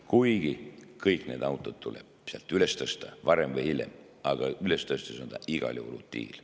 Kuigi kõik need autod tuleb sealt varem või hiljem üles tõsta, aga üles tõstes on see igal juhul utiil.